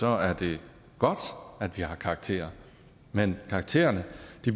er det godt at vi har karakterer men karaktererne